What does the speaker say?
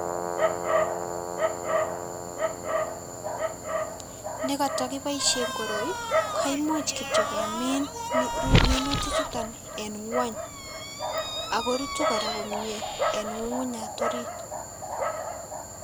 ne katakiboisie koroi goimuch kityo gemin minutik chutok eng ngwong ago rutu komie en ngungunyat orit